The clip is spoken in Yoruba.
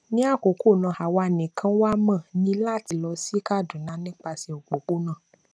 ní àkókò náà àwa nìkan wà mo ní láti lọ sí kaduna nípasẹ òpópónà